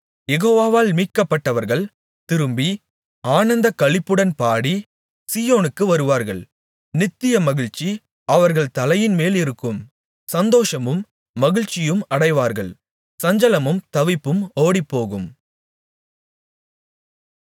யெகோவாவால் மீட்கப்பட்டவர்கள் திரும்பி ஆனந்தக்களிப்புடன் பாடி சீயோனுக்கு வருவார்கள் நித்திய மகிழ்ச்சி அவர்கள் தலையின்மேலிருக்கும் சந்தோஷமும் மகிழ்ச்சியும் அடைவார்கள் சஞ்சலமும் தவிப்பும் ஓடிப்போகும்